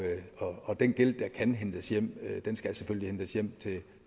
og den gæld der kan hentes hjem skal selvfølgelig hentes hjem til